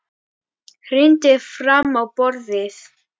Hrindir fram á borðið.